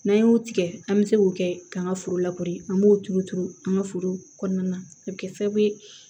N'an y'o tigɛ an bɛ se k'o kɛ k'an ka foro an b'o tuuru turu an ka foro kɔnɔna na a bɛ kɛ sababu ye